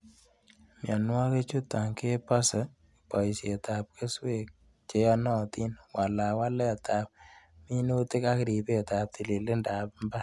Mionwoikichuton kebosen boisietab keswek cheyonotin, walawaletab minutik ak ripetab tilililindab mbar.